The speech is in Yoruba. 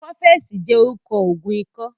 Kọ́fẹ̀sì jẹ́ orúkọ Ògùn ikọ́